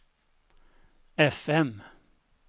fm